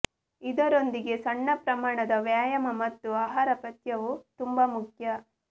ಇದರೊಂದಿಗೆ ಸಣ್ಣ ಪ್ರಮಾಣದ ವ್ಯಾಯಾಮ ಮತ್ತು ಆಹಾರ ಪಥ್ಯವು ತುಂಬಾ ಮುಖ್ಯ